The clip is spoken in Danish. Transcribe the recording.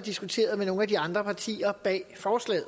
diskuteret med nogle af de andre partier bag forslaget